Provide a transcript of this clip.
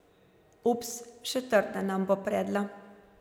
Ups, še trda nam bo predla.